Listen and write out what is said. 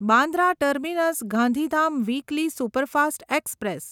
Bandra terminus Gandhidham weekly superfast express